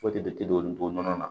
Foyi tɛ de olu donn'a na